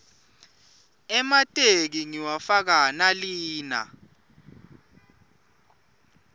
emateki ngiwafaka nalina